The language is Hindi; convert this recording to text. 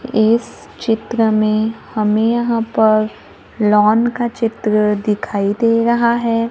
इस चित्र में हमें यहां पर लॉन का चित्र दिखाई दे रहा है।